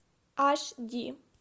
аш ди